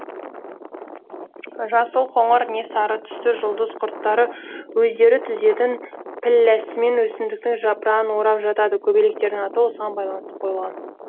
жасыл қоңыр не сары түсті жұлдыз құрттары өздері түзетін пілләсімен өсімдіктің жапырағын орап жатады көбелектердің аты осыған байланысты қойылған